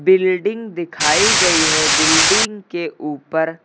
building दिखाई गई है बिल्डिंग के ऊपर--